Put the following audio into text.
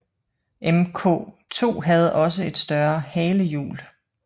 Mk II havde også et større halehjul